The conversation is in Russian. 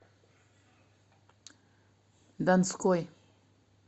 донской